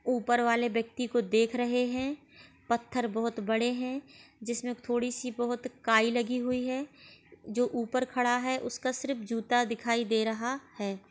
ऊपर वाले व्यक्ति को देख रहे हैं। पत्थर बहुत बड़े हैं जिसमें थोड़ी सी बहुत काई लगी हुई है। जो ऊपर खड़ा है उसका सिर्फ जूता दिखाई दे रहा है।